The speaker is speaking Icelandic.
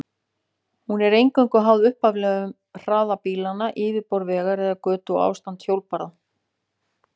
Hún er eingöngu háð upphaflegum hraða bílanna, yfirborði vegar eða götu og ástandi hjólbarða.